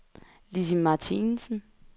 Lissi Martinsen